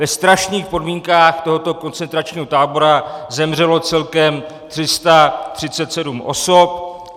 Ve strašných podmínkách tohoto koncentračního tábora zemřelo celkem 337 osob.